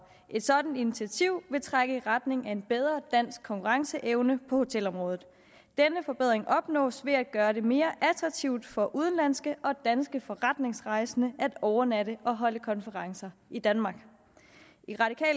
et sådant initiativ vil trække i retning af en bedre dansk konkurrenceevne på hotelområdet denne forbedring opnås ved at gøre det mere attraktivt for udenlandske og danske forretningsrejsende at overnatte og holde konferencer i danmark